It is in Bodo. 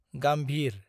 गाम्भिर